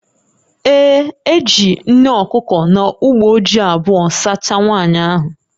Ee, e jiri nne okuko na uboji ji abụọ sachaa nwaanyị ahụ